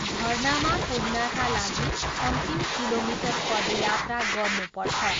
झरनामा पुग्नाका लागि अन्तिम किलोमिटर पदयात्रा गर्नुपर्छ।